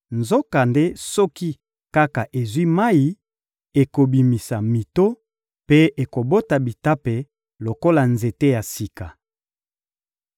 nzokande soki kaka ezwi mayi, ekobimisa mito mpe ekobota bitape lokola nzete ya sika.